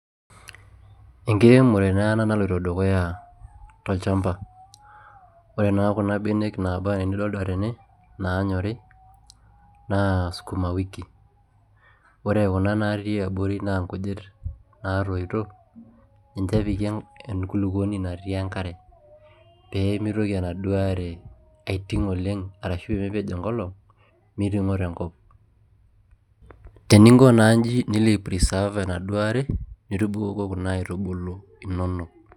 Enkiremore naa ena naloito dukuya tolchampa. ore naa kuna benek naaba anaa initodua tene naanyorri naa skuma wiki. ore kuna natii abori naa nkujit natoito. ninche epiki enkulupuoni natii enkare. pee mitoki enaduo are, aitik oleng arashu pee mepej enkolong'.miremo tenkop. teninko naa iji, nilo ai preserve enaduoo are, nitubukoko inaduo aitubulu inonok.